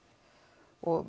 og